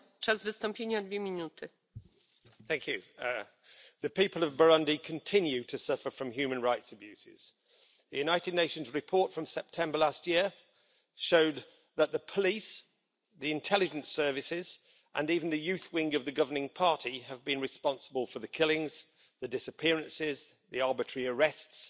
Madam President, the people of Burundi continue to suffer from human rights abuses. The United Nations report from September last year showed that the police, the intelligence services and even the youth wing of the governing party have been responsible for the killings, the disappearances and the arbitrary arrests